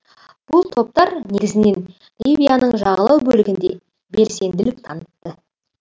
бұл топтар негізінен ливияның жағалау бөлігінде белсенділік танытты